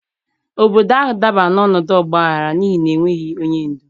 Obodo ahụ dabara n'ọnọdụ ọgbaghara n'ihi na ha enweghị onye ndu.